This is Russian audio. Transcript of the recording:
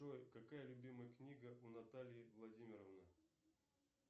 джой какая любимая книга у натальи владимировны